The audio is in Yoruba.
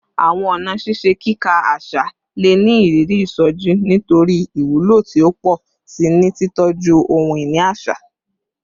Awọn ọna ṣiṣe kika aṣa le ni iriri isoji nitori iwulo ti o pọ si ni titọju ohun-ini aṣa